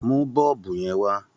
Mú bọ́ọ̀bù yẹn wá!